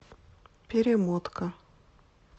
перемотка